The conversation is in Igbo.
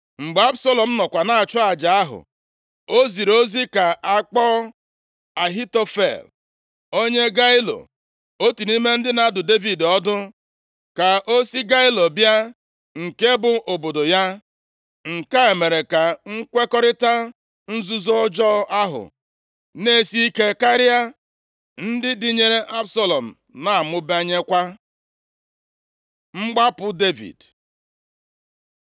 Mgbe Absalọm nọkwa na-achụ aja ahụ, o ziri ozi ka a kpọọ Ahitofel + 15:12 Ahitofel bụ nna nna Batsheba, nke a dị nʼakwụkwọ \+xt 2Sa 11:3; 23:34\+xt* onye Gailo, otu nʼime ndị na-adụ Devid ọdụ, ka o si Gailo bịa nke bụ obodo ya. Nke a mere ka nkwekọrịta nzuzo ọjọọ ahụ na-esi ike karịa, ndị dịnyere Absalọm na-amụbanyekwa. Mgbapụ Devid